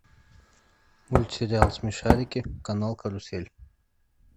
мультсериал смешарики канал карусель